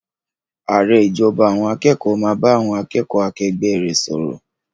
Ààrẹ ìjọba àwọn akẹ́kọ̀ọ́ yóò bá àwọn akẹ́kọ̀ọ́ akẹgbẹ́ rẹ̀ sọ̀rọ̀.